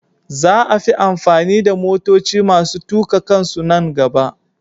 Za a fi amfani da motoci masu tuka kansu nan gaba.